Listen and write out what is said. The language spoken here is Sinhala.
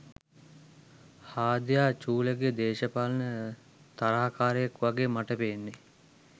හාදයා චූලගෙ දේශපාලන තරහකාරයෙක් වගෙ මට පේන්නෙ